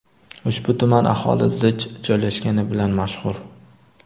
Ushbu tuman aholi zich joylashgani bilan mashhur.